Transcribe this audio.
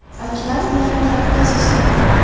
Akmal bilan gaplashishdi.